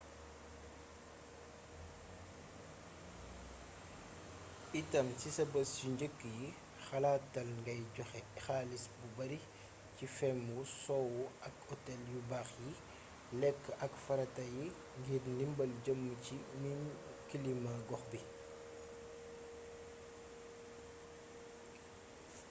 itam si sa bés yu njëkk yi xalaatal ngay joxe xaalis bu bari ci feem wu sowu ak otel yu baax yi lekk ak farata yi ngir ndimbal jëm ci miin kilima gox bi